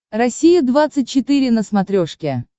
россия двадцать четыре на смотрешке